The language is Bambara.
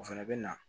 O fɛnɛ bɛ na